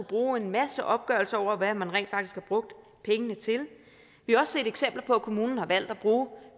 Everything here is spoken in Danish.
bruge en masse opgørelser over hvad man rent faktisk har brugt pengene til vi har også set eksempler på at kommunerne har valgt at bruge